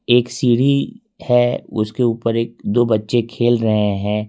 एक सीढ़ी है उसके ऊपर एक दो बच्चे खेल रहे है।